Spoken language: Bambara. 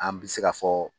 An bɛ se ka fɔ